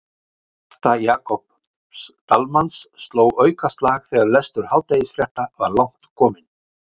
Hjarta Jakobs Dalmanns sló aukaslag þegar lestur hádegisfrétta var langt kominn.